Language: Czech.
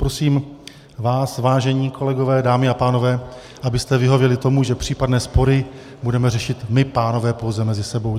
Prosím vás, vážení kolegové, dámy a pánové, abyste vyhověli tomu, že případné spory budeme řešit my, pánové, pouze mezi sebou.